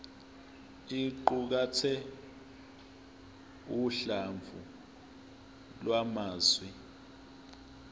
iqukathe uhlamvu lwamazwi